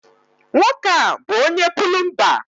Nwoke a bu onye-pulumba